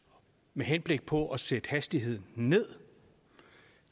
med henblik på at sætte hastigheden ned